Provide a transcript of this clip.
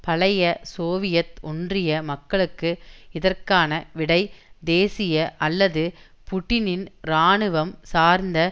பழைய சோவியத் ஒன்றிய மக்களுக்கு இதற்கான விடை தேசிய அல்லது புட்டினின் இராணுவம் சார்ந்த